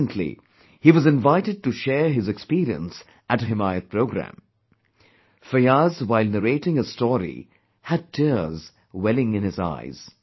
Recently, he was invited to share his experience at a 'Himayat Programme' Fiyaz while narrating his story, had tears welling in his eyes